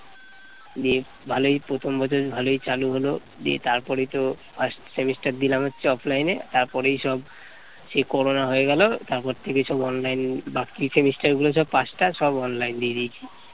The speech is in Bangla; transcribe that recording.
দিয়ে ভালই প্রথম বছর ভালোই চালু হলো দিয়ে তারপরেই তো first semester দিলাম হচ্ছে offline তারপর এইসব সেই করোনা হয়ে গেল তারপর থেকে সব online বাকি semester গুলো সব পাঁচটা সব online দিয়ে দিয়েছি